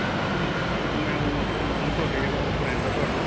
ਤੇ ਅਅ ਮੈਂ ਓ ਮਤਲੱਬ ਤੁਹਾਡੇ ਜਿਹੜਾ friend ਹੈ ਤੁਹਾਡਾ .